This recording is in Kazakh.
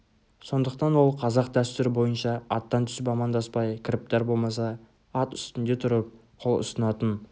сондықтан ол қазақ дәстүрі бойынша аттан түсіп амандаспай кіріптар болмаса ат үстінде тұрып қол ұсынатын